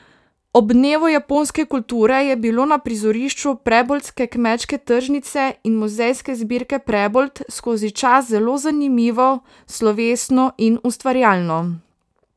Ob dnevu japonske kulture je bilo na prizorišču preboldske kmečke tržnice in muzejske zbirke Prebold skozi čas zelo zanimivo, slovesno in ustvarjalno.